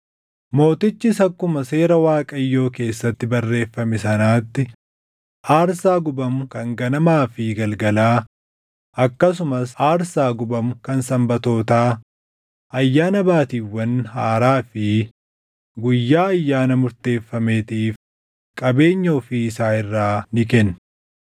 Mootichis akkuma Seera Waaqayyoo keessatti barreeffame sanatti, aarsaa gubamu kan ganamaa fi galgalaa akkasumas aarsaa gubamu kan Sanbatootaa, Ayyaana Baatiiwwan Haaraa fi guyyaa ayyaana murteeffameetiif qabeenya ofii isaa irraa ni kenne.